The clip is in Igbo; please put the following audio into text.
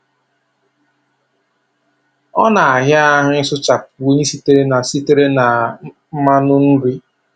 Ọ na-àhịá ahụ ị sụchapụ únyí sitere sitere na mmanụ nri.